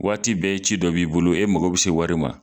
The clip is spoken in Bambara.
Waati bɛɛ ci dɔ b'i bolo e mɔgɔ bɛ se wari ma